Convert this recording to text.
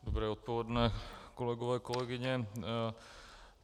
Dobré odpoledne, kolegové, kolegyně.